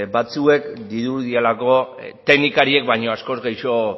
batzuek dirudielako teknikariek baina askoz gehixo